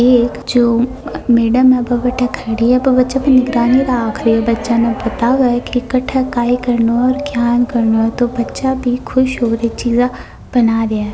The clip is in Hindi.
एक जो मैडम बट्ट खड़ी है वा बच्चा पर निगरानी रख रही है बच्चा न बताव की काठ काय करना है तो बच्चा भी खुश हो बे चीजा बना राय है।